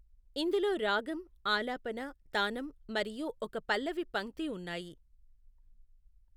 ఇందులో రాగం, ఆలాపన, తానం, మరియు ఒక పల్లవి పంక్తి ఉన్నాయి.